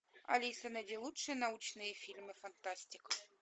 алиса найди лучшие научные фильмы фантастика